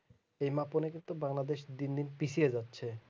এই মাপে নাকি একটু বাংলাদেশ দিন দিন পিছিয়ে যাচ্ছে